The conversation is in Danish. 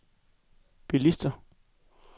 bilister